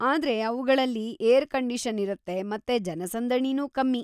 ಆದ್ರೆ ಅವ್ಗಳಲ್ಲಿ air condition ಇರುತ್ತೆ ಮತ್ತೆ ಜನಸಂದಣಿನೂ ಕಮ್ಮಿ.